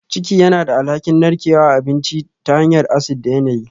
Ciki yana da alhakin narkewar abinci ta hanyar acid da yanayi